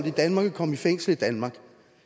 i danmark og kom i fængsel i danmark